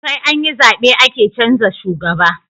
Saianyi zabe ake canza shugaba